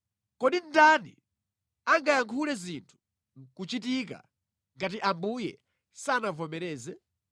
Kodi ndani angayankhule zinthu nʼkuchitika ngati Ambuye sanavomereze?